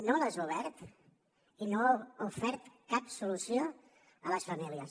no les ha obert i no ha ofert cap solució a les famílies